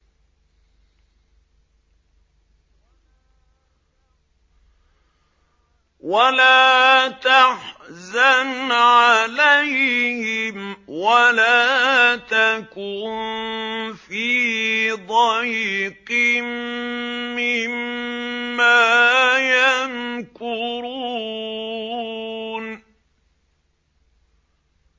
وَلَا تَحْزَنْ عَلَيْهِمْ وَلَا تَكُن فِي ضَيْقٍ مِّمَّا يَمْكُرُونَ